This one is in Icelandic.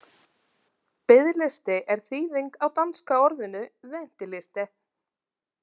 Biðlisti er þýðing á danska orðinu venteliste.